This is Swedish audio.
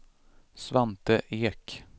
Svante Ek